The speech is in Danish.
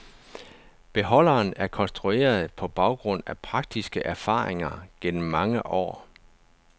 Beholderen er konstrueret på baggrund af praktiske erfaringer gennem mange år.